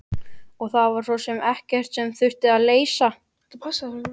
Og það var svo sem ekkert sem þurfti að leysa.